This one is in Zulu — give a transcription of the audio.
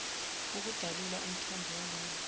ukudalula umthombo walolu